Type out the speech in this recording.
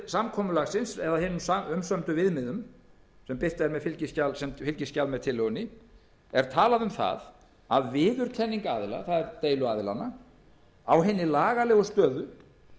samkomulagsins eða hinum umsömdu viðmiðum sem birt er sem fylgiskjal með tillögunni er talað um að viðurkenning aðila það er deiluaðilanna á hinni lagalegu stöðu